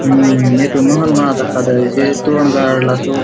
हु एथो महल मा दखा दयेसे तोरन गाडा़ सो--